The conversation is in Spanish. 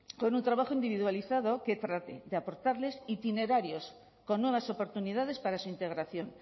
con un trabajo individualizado que trate de aportarles itinerarios con nuevas oportunidades para su integración